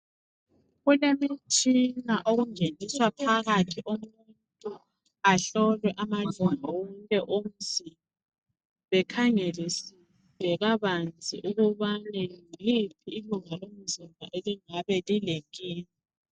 Kulemitshina okungeniswa phakathi umuntu ahlolwe amalunga wonke awomzimba bekhangelisise kabanzi ukubane yiliphi ilunga lomzimba elingabe lilenkinga.